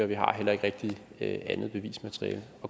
vi har heller ikke rigtig andet bevismateriale